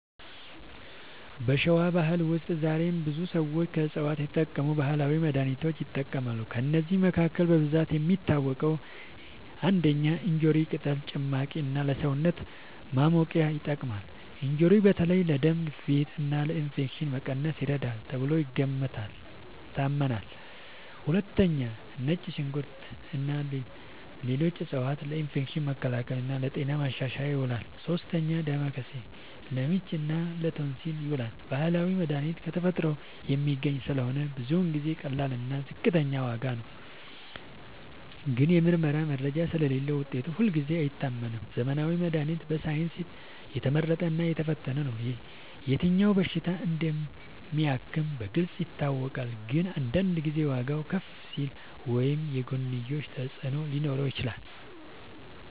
በሸዋ ባህል ውስጥ ዛሬም ብዙ ሰዎች ከዕፅዋት የተቀመሙ ባህላዊ መድሃኒቶችን ይጠቀማሉ። ከእነዚህ መካከል በብዛት የሚታወቁት፦ ፩. እንጆሪ ቅጠል ጭማቂ እና ለሰውነት ማሞቂያ ይጠቅማል። እንጆሪ በተለይ ለደም ግፊት እና ለኢንፌክሽን መቀነስ ይረዳል ተብሎ ይታመናል። ፪. ነጭ ሽንኩርት እና ሌሎች ዕፅዋት ለኢንፌክሽን መከላከል እና ለጤና ማሻሻል ይውላሉ። ፫. ዳማከሴ ለምች እና ለቶንሲል ይዉላል። ባህላዊ መድሃኒት ከተፈጥሮ የሚገኝ ስለሆነ ብዙ ጊዜ ቀላል እና ዝቅተኛ ዋጋ ነው። ግን የምርመራ መረጃ ስለሌለዉ ውጤቱ ሁልጊዜ አይታመንም። ዘመናዊ መድሃኒት በሳይንስ የተመረጠ እና የተፈተነ ነው። የትኛው በሽታ እንደሚያክም በግልጽ ይታወቃል። ግን አንዳንድ ጊዜ ዋጋዉ ከፍ ሊል ወይም የጎንዮሽ ተፅዕኖ ሊኖረው ይችላል።